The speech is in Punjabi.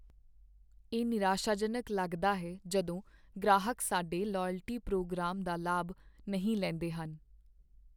ਇਹ ਨਿਰਾਸ਼ਾਜਨਕ ਲੱਗਦਾ ਹੈ ਜਦੋਂ ਗ੍ਰਾਹਕ ਸਾਡੇ ਲਾਇਲਟੀ ਪ੍ਰੋਗਰਾਮ ਦਾ ਲਾਭ ਨਹੀਂ ਲੈਂਦੇ ਹਨ।